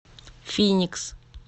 финикс